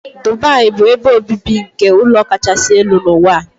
Dubai bụ ebe obibi nke ụlọ kachasị elu n'ụwa.